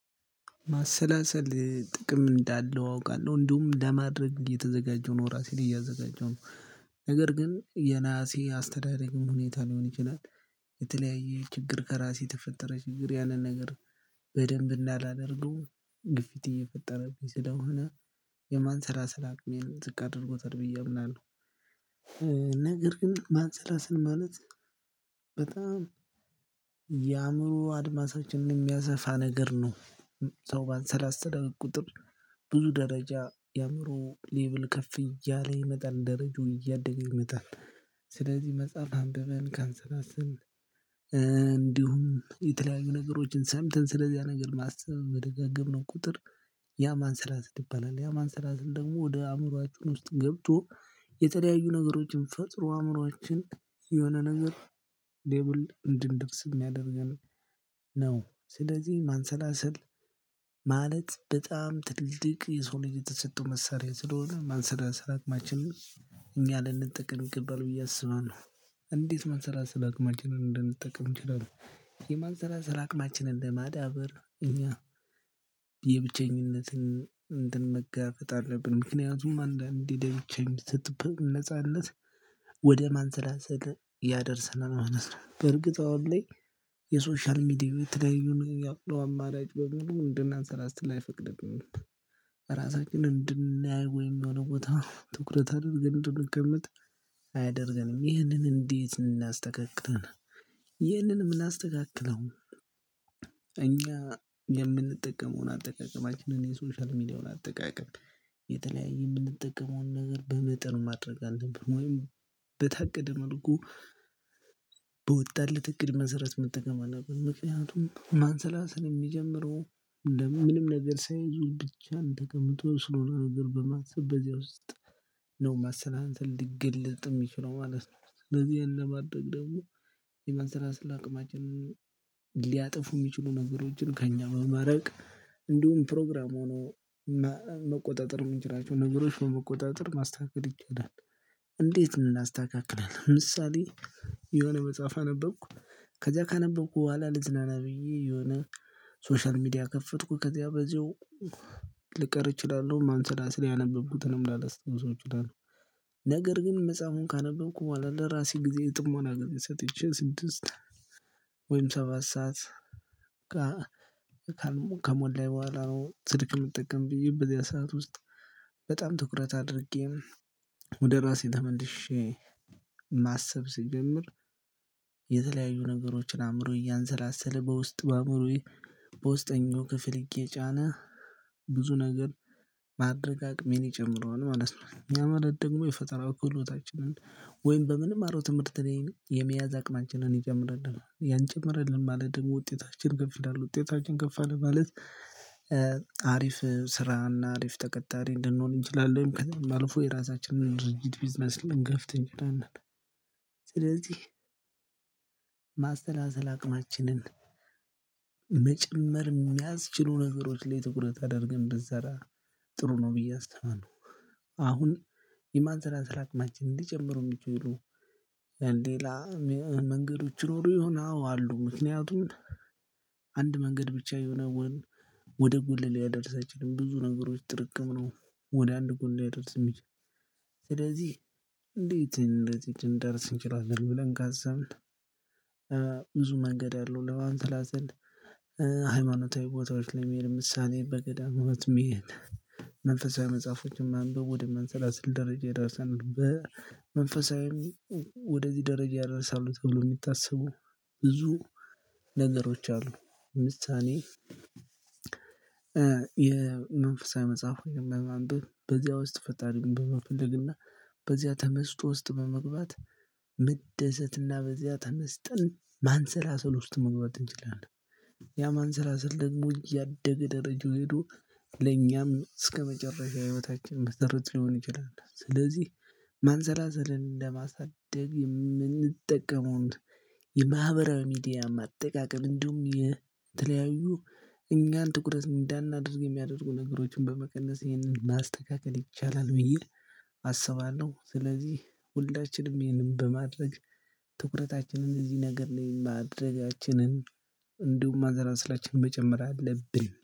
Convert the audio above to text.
ማሰላሰል ጥቅም እንዳለው አውቃለሁ እንዲሁም ለማድረግ የተዘጋጀው ነው ራሴን እያዘጋጀው ነው። ነገር ግን የነሀሴ አስተዳደግም ሁኔታ ሊሆን ይችላል። የተለያየ ችግር ከራሴ ተፈጠረ ችግር ያንን ነገር በደንብ እንዳላደርገው ግፊት እየፈጠረብኝ ስለሆነ የማንሰላሰልም አቅሜን ዝቅ አድርጎታል ብዬ አምናለሁ። ነገር ግን ማንሰላስል ማለት በጣም የአእምሮ አድማሳችን የሚያሰፋ ነገር ነው። ሰው ባንሰላሰለ ቁጥር ብዙ ደረጃ የአእምሮ ሌቭል ከፍ እያለ ይመጣል ደረጃው እያደገ ይሮጣል። ስለዚህ መጽሐፍ አንብበን ካንሰላስልን እንዲሁም የተለያዩ ነገሮችን ሰምተን ስለዚያ ነገር ማሰብ በደጋገምነው ቁጥር ያ ማንሰላሰል ይባላል። ያ ማንሰላሰል ደግሞ ወደ አእምሮአችን ውስጥ ገብቶ የተለያዩ ነገሮችን ፈጥሮ አእምሮአችን የሆነ ነገር ሌቭል እንድንደርስ ያደርጋል። ነው ስለዚህ ማንሰላሰል ማለት በጣም ትልልቅ የሰውን ልጅ የተሰጠው መሳሪያ ስለሆነ ማንሰላሰል አቅማችንን እኛ ልንጠቅም ይገባል ብዬ አስባለሁ። እንዴት ማንሰላሰል አቅማችንን እንድምንጠቅም እንችላለን? የማንሰላሰል አቅማችንን ለማዳበር እኛ የብቸኝነትን እንትን መጋፈጥ አለብን ምክንያቱም አንዳንዴ ለብቻ የሚሰጥበት ነጻነት ወደ ማንሰላሰል ያደርሰናል ማለት ነው። በርግጥ አሁን ላይ የሶሻል ሚዲያ የተለያዩ ያለው አማራጭ በሙሉ አንድናንሰላስል አይፈቅድልንም። ራሳችንን እንድናይ ወይም የሆነ ቦታ ትኩረት አድርገን እንድንቀመጥ አያደርገንም ይህንን እንዴት እናስተካክላለን? ይህንን የምናስተካክለው እኛ የምንጠቀመውን አጠቃቀማችንን የሶሻል ሚዲያውን አጠቃቀም የተለያየ የምንጠቀመውን ነገር በመጠኑ ማድረግ አልብን ወይም በታቀደ መልኩ በወጣለት እቅድ መሰረት መጠቀም አለብን። ምክንያቱም ማንሰላሰል የሚጀምረው ምንም ነገር ሳይዙ ብቻን ተቀምጦ ስለሆነ ነገር በማሰብ በዚያ ውስጥ ነው ማንሰላሰል ሊገልጥም የሚችለው ማለት ነው። ስለዚህ ይሄን ለማድረግ ደግሞ የማንሰላሰል አቅማችንን ሊያጥፉ የሚችሉ ነገሮችን ከእኛ በማራቅ እንዲሁም ፕሮግራም ሆኖ መቆጣጠር የምንችላቸው ነገሮች በመቆጣጠር ማስተካከል ይቻላል። እንዴት እናስተካክላለን? ለምሳሌ የሆነ መጽሐፍ አነበብኩ ከዚያ ካነበብኩ በኋላ ልዝናና ብዬ የሆነ ሶሻል ሚዲያ ከፈትኩ ከዚያ በዚሁ ልቀር እችላለሁ ማንሰላሰል ያነበብኩትንም ላላስታውሰው እችላለሁ። ነገር ግን መጽሐፉን ካነበብኩ ለራሴ ጊዜ የጥሞና ሰጥቼ ስድስት ወይም ሰባት ሰዓት ከሞላኝ በኋላ ነው ስልክ የምጠቀም ብዬ በዚያ ሰዓት ውስጥ በጣም ትኩረት አድርጌ ወደ ራሴ ተመልሼ ማሰብ ስጀምር። የተለያዩ ነገሮችን አእምሮ እያንሰላሰለ በውስጥ በአእምሮዬ በውስጠኛው ክፍል እየጫነ ብዙ ነገር ማድረግ አቅሜን ይጨምረዋል ማለት ነው ያማለት ደግሞ የፈጠራ ክህሎታችንን ወይም በምንማረው ትምህርት ቤት የመያዝ አቅማችንን ይጨምርልናል ያን ጨመረልን ማለት ደግሞ ውጤታችን ከፍ ይልላል ውጤታችን ከፍ አለ ማለት። አሪፍ ስራና አሪፍ ተቀጣሪ እንድንሆን እንችላለን ከዛም አልፎ የራሳችንን ድርጅት ቢዝነስ ልንከፍት እንችላለን። ስለዚህ ማሰላሰል አቅማችንን መጨመር የሚያስችሉ ነገሮች ላይ ትኩረት አደርገን ብንሰራ ጥሩ ነው ብዬ አስባለው። አሁን የማንሰላሰላ አቅማችንን ሊጨምሩ የሚችሉ ሌላ መንገዶች ይኖሩ ይሆን አዎ አሉ። ምክንያቱም አንድ መንገድ ብቻ የሆነ ወይንም ወደ ጎልህ ሊያደርስ አይችልም። ብዙ ነገሮች ጥርቅም ነው ወደ አንድ ጎል ሊያደርስ የሚችል ስለዚህ እንዴት እንደዚህ እንደርስ እንችላለን ብለን ካሰብን? ብዙ መንገድ አለው ለማንሰላሰል። ሃይማኖታዊ ቦታዎች ላይ ለምሳሌ በገዳም ውስጥ መሄድ መንፈሳዊ መጽሐፎችን ማንበብ ወደ ማንሰላስል ደረጃ የደረሰን በመንፈሳዊ ወደዚህ ደረጃ ያደርሳሉ ተብለው የሚታስቡ ብዙ ነገሮች አሉ። ምሳሌ የመንፈሳዊ መጽሐፍ በማንበብ በዚያ ውስጥ ፈጣሪን መፈለግና በዚያ ተመስጦ ውስጥ በመግባት መደሰትና በዚያ ተነስተን ማንሰላሰል ውስጥ መግባት እንችላለን። ያ ማንሰላሰል ደግሞ እያደገ ደረጃው ሄዶ ለኛም እስከመጨረሻ ህይወታችን መሰረት ሊሆን ይችላል። ስለዚህ ማንዘላዘልን ለማሳደግ የምንጠቀመውን የማህበራዊ ሚዲያ አጠቃቀም እንዲሁም የተለያዩ እኛን ትኩረት እንዳናደርግ የሚያደርጉ ነገሮችን በመቀነስ ይህንን ማስተካከል ይቻላል። ብዬ አስባለሁ ስለዚህ ሁላችንም ይሄንን በማድረግ ትኩረታችንን እዚህ ነገር ላይ ማደርጋችንን እንዲሁም ማዘራስላችንን መጨመር አለብን